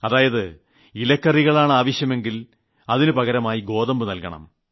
അതായത് പച്ചക്കറികളാണ് ആവശ്യമെങ്കിൽ അതിനു പകരമായി ഗോതമ്പ് നൽകണം